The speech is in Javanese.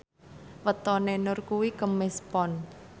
wetone Nur kuwi Kemis Pon